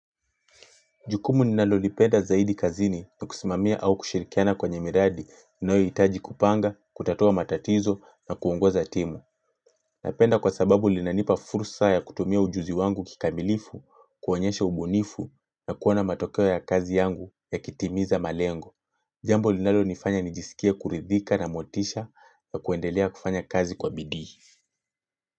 Jukumu ninalolipenda zaidi kazini kwa kusimamia au kushirikiana kwenye miradi inayohitaji kupanga, kutatua matatizo na kuongoza timu. Napenda kwa sababu linanipa fursa ya kutumia ujuzi wangu kikamilifu, kuonyesha ubunifu na kuona matokeo ya kazi yangu yakitimiza malengo. Jambo linalonifanya nijisikie kuridhika na motisha wa kuendelea kufanya kazi kwa bidii.